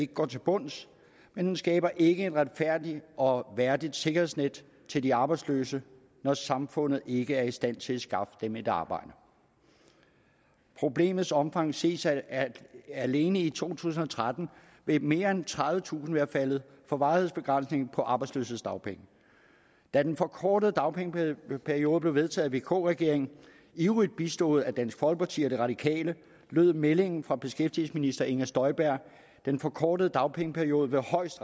går til bunds men den skaber ikke et retfærdigt og værdigt sikkerhedsnet til de arbejdsløse når samfundet ikke er i stand til at skaffe dem et arbejde problemets omfang ses af at alene i to tusind og tretten vil mere end tredivetusind være faldet for varighedsbegrænsningen på arbejdsløshedsdagpenge da den forkortede dagpengeperiode blev vedtaget af vk regeringen ivrigt bistået af dansk folkeparti og de radikale lød meldingen fra beskæftigelsesminister inger støjberg at den forkortede dagpengeperiode højst